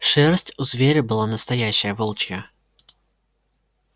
шерсть у зверя была настоящая волчья